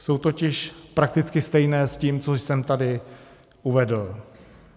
Jsou totiž prakticky stejné s tím, co jsem tady uvedl.